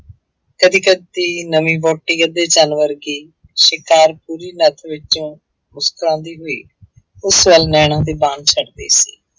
ਕਦੇ ਕਦੇ ਨਵੀਂ ਵਾਹੁਟੀ ਅੱਧੇ ਚੰਨ ਵਰਗੀ ਸ਼ਿਕਾਰ ਵਿੱਚੋਂ ਮੁਸਕਰਾਉਂਦੀ ਹੋਈ ਉਸ ਵੱਲ ਨੈਣਾਂ ਦੇ ਬਾਣ ਛੱਡ ਰਹੀ ਸੀ।